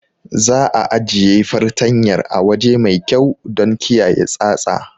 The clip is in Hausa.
Za'a ajiye fartanyar a waje mai kyau don kiyaye tsatsa.